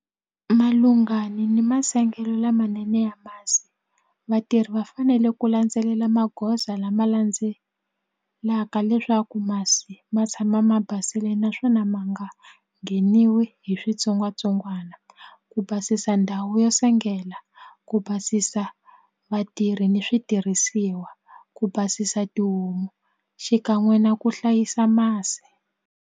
Malungani ni masengelo lamanene ya masi vatirhi va fanele ku landzelela magoza lama landzelaka leswaku masi ma tshama ma basile naswona ma nga ngheniwi hi switsongwatsongwana ku basisa ndhawu yo sengela ku basisa vatirhi ni switirhisiwa ku basisa tihomu xikan'we na ku hlayisa masi.